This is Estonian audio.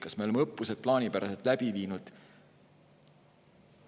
Kas me oleme õppused plaanipäraselt läbi viinud.?